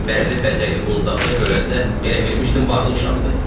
Bərli-bəzəkli qundaqda görəndə elə bilmişdim varlı uşaqdır.